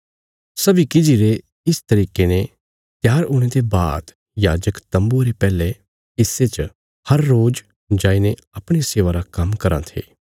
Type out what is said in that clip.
सब्बीं किजि रे इस तरिके ने त्यार हुणे ते बाद याजक तम्बुये रे पैहले हिस्से च हर रोज जाईने अपणिया सेवा रा काम्म कराँ थे